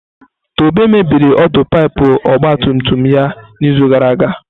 Tobe mebiri ọdụ pipu ọgba tum tum ya n'izu gara aga.